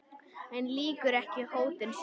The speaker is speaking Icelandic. En lýkur ekki hótun sinni.